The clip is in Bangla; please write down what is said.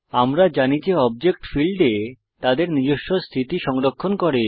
আমরা জানি যে অবজেক্ট ফীল্ডে তাদের নিজস্ব স্থিতি সংরক্ষণ করে